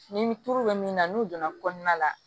Ni turu bɛ min na n'u donna kɔnɔna la